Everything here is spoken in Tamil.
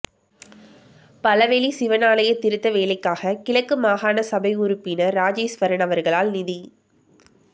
பளவெளி சிவன் ஆலய திருத்த வேலைக்காக கிழக்கு மாகாண சபை உறுப்பினர் இராஜேஸ்வரன் அவர்களால் நிதி